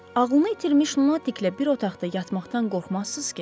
Ağlını itirmiş lunatiklə bir otaqda yatmaqdan qorxmazsız ki?